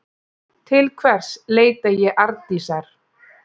Til hvers leita ég Arndísar?